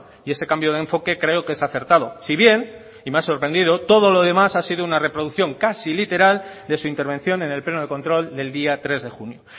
y ese cambio de enfoque creo que es acertado si bien y me ha sorprendido todo lo demás ha sido una reproducción casi literal de su intervención en el pleno de control del día tres de junio